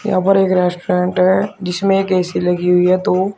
यहां पर एक रेस्टोरेंट है जिसमें एक ए_सी लगी हुई है दो।